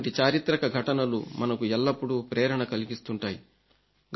ఇటువంటి చారిత్రక ఘటనలు మనకు ఎల్లప్పుడూ ప్రేరణ కలిగిస్తుంటాయి